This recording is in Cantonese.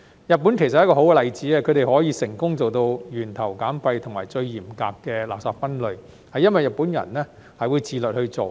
日本其實是一個好例子，他們可以成功做到源頭減廢及最嚴格的垃圾分類，這是因為日本人會自律去做。